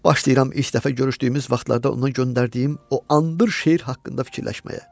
Başlayıram ilk dəfə görüşdüyümüz vaxtdan onun göndərdiyim o andır şeir haqqında fikirləşməyə.